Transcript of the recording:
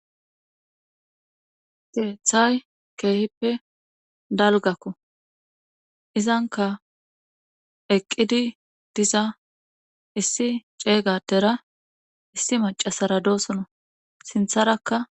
Geethay keehippe dalgakko izanka eqqidi diza issi ceeygadera issi macasara doosono sintharakka